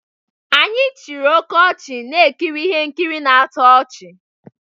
Anyị chịrị oke ọchị na-ekiri ihe nkiri na-atọ ọchị